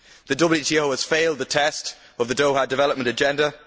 The WTO has failed the test of the Doha Development Agenda.